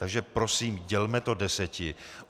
Takže prosím dělme to deseti.